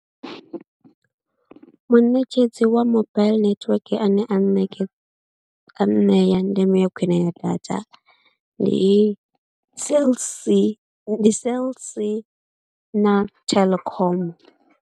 Muṋetshedzi wa mobaiḽi netiweke ane a nṋeke, a nṋea ndeme ya khwine ya data ndi Cell C, ndi Cell C na Telkom.